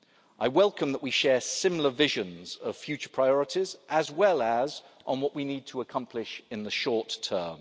of us. I welcome the fact that we share similar visions of future priorities and on what we need to accomplish in the short